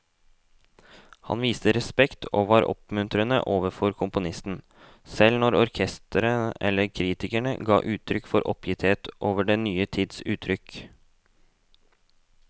Han viste respekt og var oppmuntrende overfor komponisten, selv når orkesteret eller kritikere ga uttrykk for oppgitthet over den nye tids uttrykk.